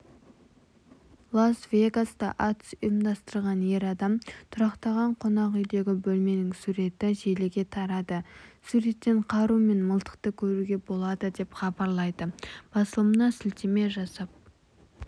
лас-вегаста атыс ұйымдастырған ер адам тұрақтаған қонақүйдегібөлменің суреті желіге тарады суреттен қару мен мылтықты көруге болады деп хабарлайды басылымына сілтеме жасап